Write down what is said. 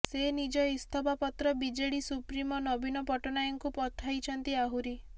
ସେ ନିଜ ଇସ୍ତଫା ପତ୍ର ବିଜେଡି ସୁପ୍ରିମୋ ନବୀନ ପଟ୍ଟନାୟକଙ୍କୁ ପଠାଇଛନ୍ତି ଆହୁରି